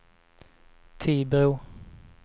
Tibro